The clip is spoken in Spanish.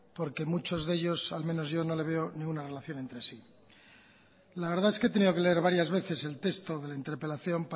porque muchos de ellos al menos yo no le veo ninguna relación entre sí la verdad es que he tenido que leer varias veces el texto de la interpelación